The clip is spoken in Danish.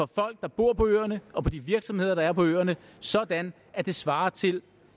folk der bor på øerne og for de virksomheder der er på øerne sådan at det svarer til